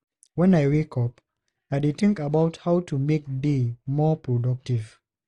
When I wake up, I dey think about how to make day more productive.